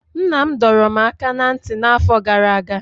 Nna m dọrọ m aka ná ntị n'afọ gara aga.